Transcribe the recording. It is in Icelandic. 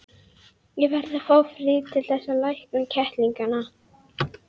Ég verð að fá frið til þess að lækna kettlingana.